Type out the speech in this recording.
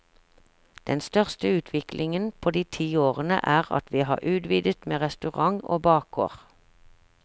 Den største utviklingen på de ti årene er at vi har utvidet med restaurant og bakgård.